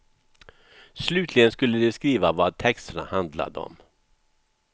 Slutligen skulle de skriva vad texterna handlade om.